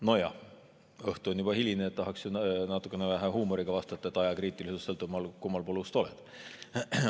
Nojah, õhtu on juba hiline, tahaks natukese huumoriga vastata, et ajakriitilisus sõltub sellest, kummal pool ust sa oled.